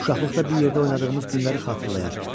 Uşaqlıqda bir yerdə oynadığımız günləri xatırlayar.